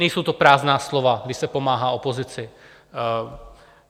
Nejsou to prázdná slova, když se pomáhá opozici.